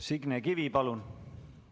Signe Kivi, palun!